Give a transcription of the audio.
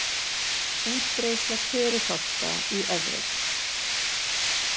Útbreiðsla förufálka í Evrópu.